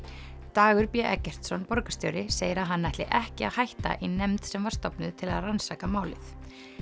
Dagur b Eggertsson borgarstjóri segir að hann ætli ekki að hætta í nefnd sem var stofnuð til að rannsaka málið